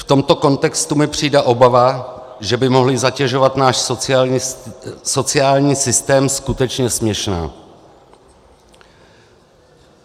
V tomto kontextu mi přijde obava, že by mohli zatěžovat náš sociální systém, skutečně směšná.